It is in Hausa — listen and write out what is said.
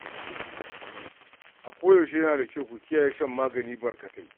A koyaushe yana da kyau ku kiyaye shan magani barkatai.